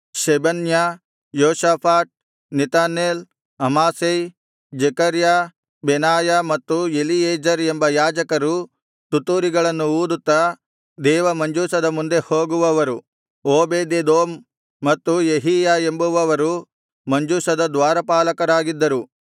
ಶೆಬನ್ಯ Jehoshaphat Nethanel Amasai Zechariah Benaiah ಮತ್ತು Eliezer ಎಂಬ ಯಾಜಕರು ತುತ್ತೂರಿಗಳನ್ನು ಊದುತ್ತಾ ದೇವ ಮಂಜೂಷದ ಮುಂದೆ ಹೋಗುವವರು ಓಬೇದೆದೋಮ್ ಮತ್ತು ಯೆಹೀಯ ಎಂಬುವವರು ಮಂಜೂಷದ ದ್ವಾರಪಾಲಕರಾಗಿದ್ದರು